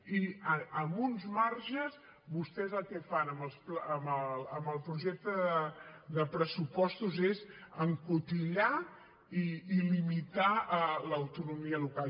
i amb uns marges vostès el que fan amb el projecte de pressupostos és encotillar i limitar l’autonomia local